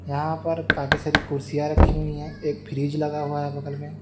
यहां पर काफी सारी कुर्सियां रखी हुई है एक फ्रिज लगा हुआ हैं बगल में--